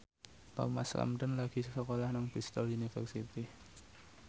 Thomas Ramdhan lagi sekolah nang Bristol university